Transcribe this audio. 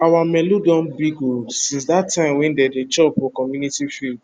our melu don big oo since that time wey dem dey chop for community field